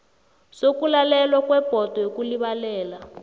sokulalelwa kwebhodo yokulibalela